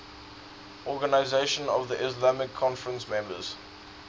organisation of the islamic conference members